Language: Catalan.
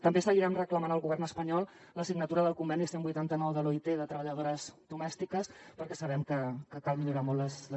també seguirem reclamant al govern espanyol la signatura del conveni cent i vuitanta nou de l’oit de treballadores domèstiques perquè sabem que cal millorar molt les